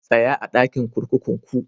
Tsaya a'dakin kurkukun ku!